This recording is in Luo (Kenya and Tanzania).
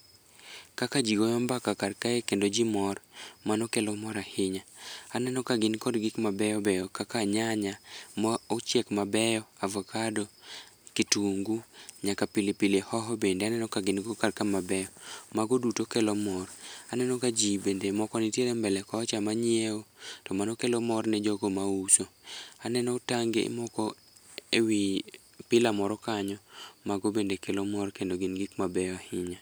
Kaka ji goyo mbaka karkae kendo ji mor, mano kelo mor ahinya, aneno ka gin kod gikmabeyo beyo kaka nyanya ma ochiek mabeyo, avokado, kitungu, nyaka pilipili hoho bende aneno kagin go karka mabeyo mago duto kelo mor. Aneno ka ji bende moko nitiere mbele kocha manyieo to mano kelo mor ne jogo mauso. Aneno tange moko e wi pilar moro kanyo, mago bende kelo mor kendo gin gik mabeyo ahinya.